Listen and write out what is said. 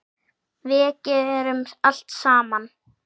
Við gerum allt saman.